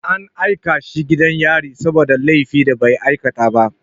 An aika shi gidan yari saboda laifin da bai aikata ba.